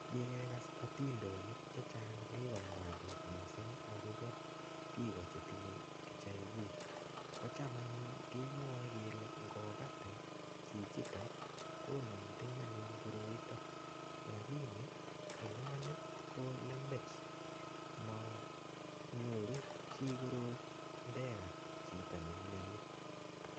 Kikekas atindonik chechang' chekikomwa biik mising' akobo biko chetinyei HIV kocham anyun kemwoei kele ngokatin chichito konomten anyun koroito lakini eng' imanit ko lembech manyuru chi korot ndekat chito neimiyoni